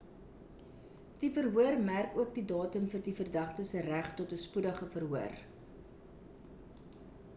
die verhoor merk ook die datum vir die verdagte se reg tot 'n spoedige verhoor